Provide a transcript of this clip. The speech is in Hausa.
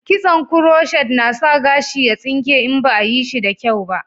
Kitson kuroshet na sa gashi ya tsinke in ba a yi shi da kyau ba